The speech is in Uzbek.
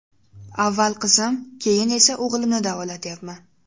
Avval qizim, keyin esa o‘g‘limni davolatyapman.